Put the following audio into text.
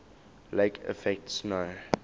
lake effect snow